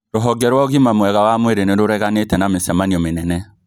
Rũhonge rwa ũgima mwega wa mwĩrĩ nĩrũreganĩte na mĩcemanio mĩnene